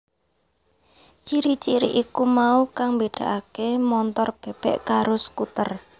Ciri ciri iku mau kang mbédakaké montor bèbèk karo skuter